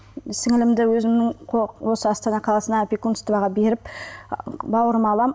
сіңлімді өзімнің осы астана қаласына опекунствоға беріп бауырыма аламын